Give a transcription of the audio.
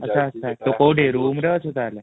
ଆଚ୍ଛା ଆଚ୍ଛା ତୁ କୋଉଠି room ରେ ଅଛୁ ତାହେଲେ